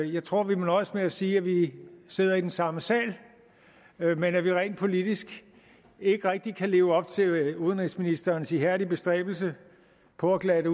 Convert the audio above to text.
jeg tror vi må nøjes med at sige at vi sidder i den samme sal men at vi rent politisk ikke rigtig kan leve op til udenrigsministerens ihærdige bestræbelse på at glatte